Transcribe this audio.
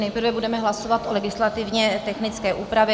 Nejprve budeme hlasovat o legislativně technické úpravě.